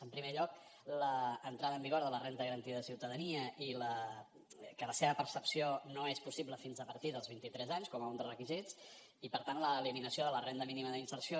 en primer lloc l’entrada en vigor de la renda garantida de ciutadania que la seva percepció no és possible fins a partir dels vint i tres anys com un dels requisits i per tant l’eliminació de la renda mínima d’inserció